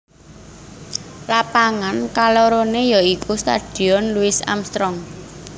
Lapangan kaloroné ya iku Stadion Louis Armstrong